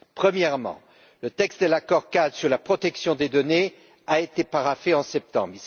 Premièrement, le texte de l'accord cadre sur la protection des données a été paraphé en septembre.